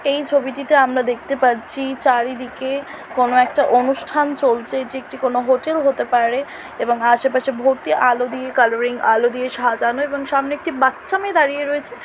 এই ছবিটিতে আমরা দেখতে পাচ্ছি চারিদিকে কোনো একটা অনুষ্ঠান চলছে এটি কোনো একটি হোটেল হতে পারে । এবং আশেপাশে ভর্তি আলো দিয়ে কালারিং আলো দিয়ে সাজানো এবং সামনে একটি বাচ্চা মেয়ে দাঁড়িয়ে রয়েছে।